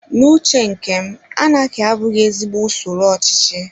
N'uche nkem, anaki abụghị ezigbo usoro ochichi